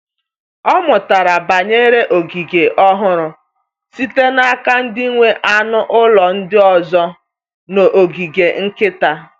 Ọ mụtara banyere ogige ọhụrụ site n’aka ndị nwe anụ ụlọ ndị ọzọ n’ogige nkịta.